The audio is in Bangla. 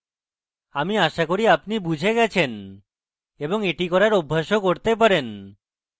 আমি আশা করি আপনি এটি বুঝে গেছেন এবং আপনি এটি করার অভ্যাসও করতে পারেন